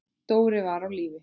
Dóri var á lífi.